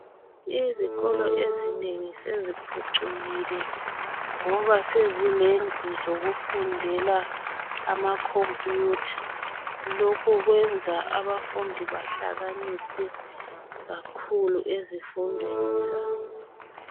Izikolo ezinengi seziphucukile ngoba sezilendu zokufundela amakhompiyutha. Lokho kwenza abafundi bahlakaniphe kakhulu ezifundweni zabo.